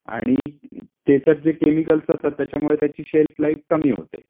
आणि त्याच्यात जे केमिकल असतात त्याच्यामुळे त्याची सेल्फ लाइफ कमी होते.